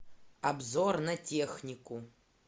обзор на технику